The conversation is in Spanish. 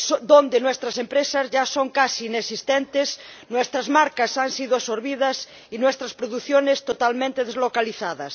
donde nuestras empresas ya son casi inexistentes, nuestras marcas han sido absorbidas y nuestras producciones totalmente deslocalizadas.